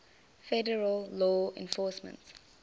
federal law enforcement